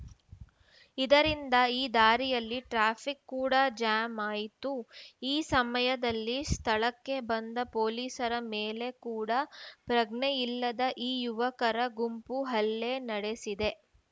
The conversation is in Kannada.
ಇದರಿಂದ ಈ ದಾರಿಯಲ್ಲಿ ಟ್ರಾಫಿಕ್‌ ಕೂಡ ಜಾಮ್‌ ಆಯಿತು ಈ ಸಮಯದಲ್ಲಿ ಸ್ಥಳಕ್ಕೆ ಬಂದ ಪೊಲೀಸರ ಮೇಲೆ ಕೂಡ ಪ್ರಜ್ಞೆಯಿಲ್ಲದ ಈ ಯುವಕರ ಗುಂಪು ಹಲ್ಲೆ ನಡೆಸಿದೆ